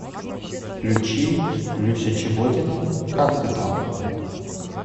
включи люся чеботина как ты там